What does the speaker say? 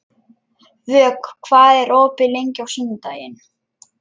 Vök, hvað er opið lengi á sunnudaginn?